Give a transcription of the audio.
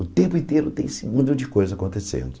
O tempo inteiro tem segundo de coisa acontecendo.